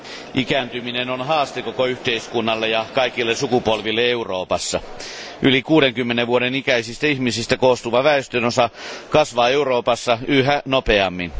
Arvoisa puhemies, ikääntyminen on haaste koko yhteiskunnalle ja kaikille sukupolville Euroopassa. Yli 60 vuoden ikäisistä ihmisistä koostuva väestönosa kasvaa Euroopassa yhä nopeammin.